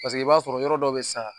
Paseke i b'a sɔrɔ yɔrɔ dɔ bɛ yen nɔ sisan